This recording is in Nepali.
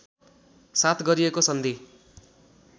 साथ गरिएको सन्धि